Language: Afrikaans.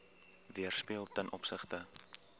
weerspieël ten opsigte